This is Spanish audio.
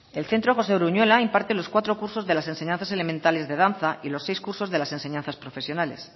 el centro josé uruñuela imparte los cuatro cursos de las enseñanzas elementales de danza y los seis cursos de las enseñanzas profesionales